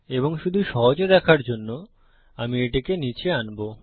এবং শুধু সহজে দেখার জন্য আমি এটিকে নীচে আনবো